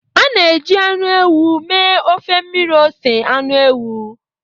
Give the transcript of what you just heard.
A na-eji anụ ewu mee ofe mmiri ose anụ ewu.